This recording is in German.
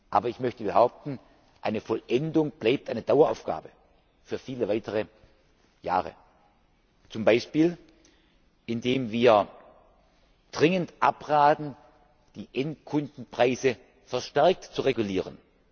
Aber ich möchte behaupten, eine Vollendung bleibt eine Daueraufgabe für viele weitere Jahre, zum Beispiel, indem wir dringend abraten, die Endkundenpreise verstärkt zu regulieren.